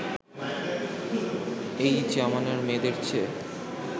এই জমানার মেয়েদের চেয়ে